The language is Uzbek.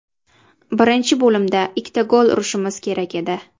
Birinchi bo‘limda ikkita gol urishimiz kerak edi.